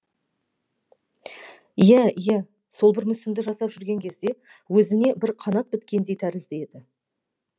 иә иә сол бір мүсінді жасап жүрген кезде өзіне бір қанат біткендей тәрізді еді